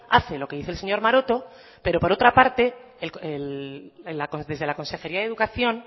hace lo que dice el señor maroto pero por otra parte desde la consejería de educación